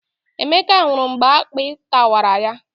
Emeka nwụrụ mgbe akpị tarawa ya